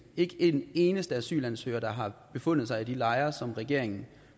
ikke en eneste asylansøger der har befundet sig i de lejre som regeringen